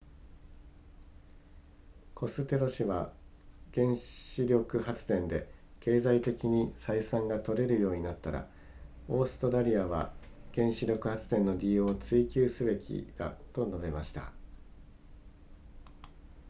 コステロ氏は原子力発電で経済的に採算が取れるようになったらオーストラリアは原子力発電の利用を追求すべきだと述べました